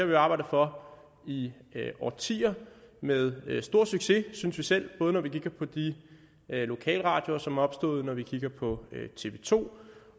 vi jo arbejdet for i årtier med stor succes synes vi selv både når vi kigger på de lokalradioer som er opstået og når vi kigger på tv to